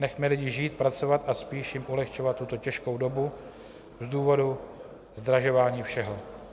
Nechme lidi žít, pracovat a spíš jim ulehčovat tuto těžkou dobu z důvodu zdražování všeho.